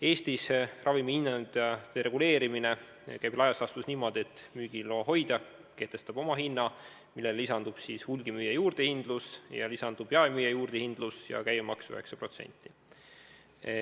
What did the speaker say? Eestis käib ravimihindade reguleerimine laias laastus nii, et müügiloa hoidja kehtestab oma hinna, millele lisanduvad hulgimüüja juurdehindlus, jaemüüja juurdehindlus ja käibemaks 9%.